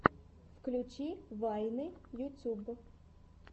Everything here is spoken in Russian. включи вайны ютуб